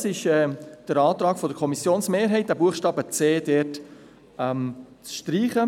Dies ist der Antrag der Kommissionsmehrheit: den Buchstaben c streichen.